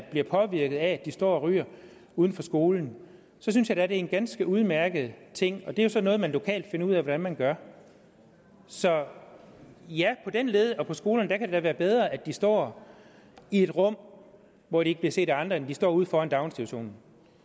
bliver påvirket af at de står og ryger uden for skolen så synes jeg da det er en ganske udmærket ting og det er sådan noget man lokalt finder ud af hvordan man gør så ja på den led og på skolerne kan det da være bedre at de står i et rum hvor de ikke bliver set af andre end at de står ude foran institutionen